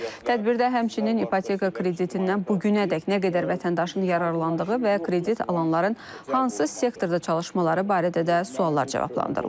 Tədbirdə həmçinin ipoteka kreditindən bu günədək nə qədər vətəndaşın yararlandığı və kredit alanların hansı sektorda çalışmaları barədə də suallar cavablandırılıb.